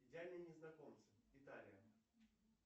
идеальные незнакомцы италия